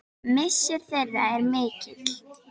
Missir þeirra er mikill.